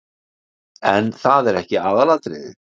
En það er ekki aðalatriðið.